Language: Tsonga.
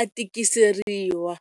a tikiseriwa.